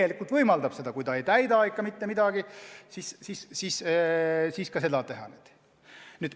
Kui ta ikka ei täida mitte mingeid reegleid, siis saab ka seda teha.